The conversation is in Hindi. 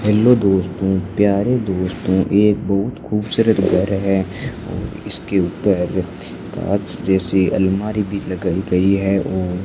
हेलो दोस्तों प्यारे दोस्तों एक बहुत खूबसूरत घर है और इसके ऊपर कांच जैसी अलमारी भी लगाई गई है ओ --